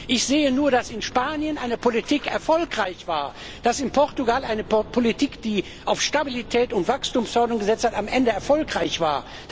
Ich sehe nur, dass in Spanien eine Politik erfolgreich war, dass in Portugal eine Politik, die auf Stabilität und Wachstumsförderung gesetzt hat, am Ende erfolgreich